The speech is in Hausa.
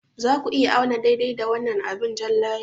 Za ku iya auna daidai da wannan abin jan layi?